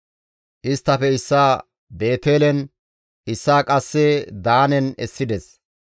Isttafe issaa Beetelen, issaa qasse Daanen essides.